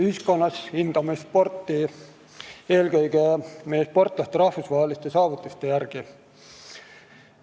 Ühiskonnas hindame sporti eelkõige meie sportlaste rahvusvaheliste saavutuste järgi.